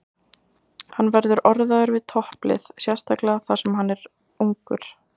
Hann verður orðaður við topplið, sérstaklega þar sem hann er ungur.